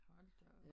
Hold da op